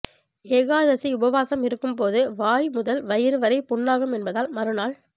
ஏகாதசி உபவாசம் இருக்கும்போது வாய் முதல் வயிறு வரை புண்ணாகும் என்பதால் மறுநாள்